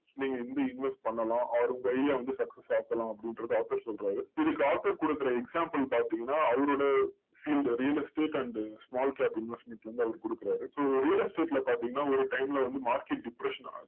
நீங்க எங்க invest பண்ணலாம் or உங்க idea வந்து success ஆக்கலாம் அப்படிங்கறத author சொல்றாரு இதுக்கு author கொடுக்கற example பாத்தீங்கன்னா, அவரோட field real estate and small cap investment ல இருந்து அவரு கொடுக்கறாரு. so real estate ல பார்த்தீங்கன்னா ஒரு time ல வந்து market depression ஆகுது.